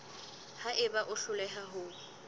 ha eba o hloleha ho